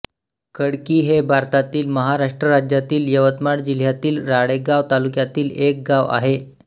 खडकी हे भारतातील महाराष्ट्र राज्यातील यवतमाळ जिल्ह्यातील राळेगांव तालुक्यातील एक गाव आहे